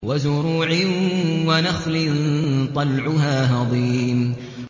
وَزُرُوعٍ وَنَخْلٍ طَلْعُهَا هَضِيمٌ